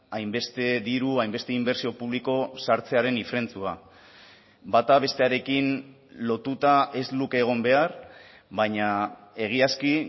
hainbeste diru hainbeste inbertsio publiko sartzearen ifrentzua bata bestearekin lotuta ez luke egon behar baina egiazki